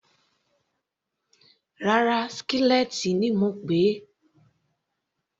Rárá, skillet ni mo pèé.